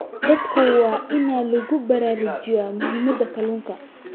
Dadka waa in lagu baraarujiyaa muhiimadda kalluunka.